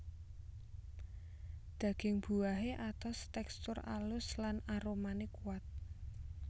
Daging buahé atos tèkstur alus lan aromané kuat